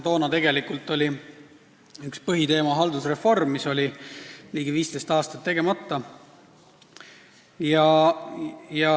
Toona oli üks põhiteemasid haldusreform, mis oli ligi 15 aastat tegemata olnud.